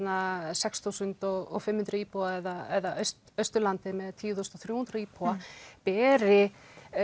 sex þúsund og fimm hundruð íbúa eða Austulandið með tíu þúsund þrjú hundruð íbúa beri